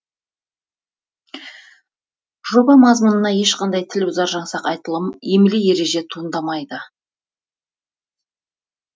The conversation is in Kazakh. жоба мазмұнынан ешқандай тіл бұзар жаңсақ айтылым емле ереже туындамайды